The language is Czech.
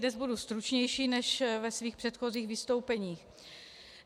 Dnes budu stručnější než ve svých předchozích vystoupeních.